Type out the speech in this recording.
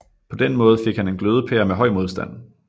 På den måde fik han en glødepære med høj modstand